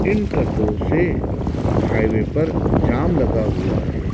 इन ट्रको से हाईवे पर जाम लगा हुआ है।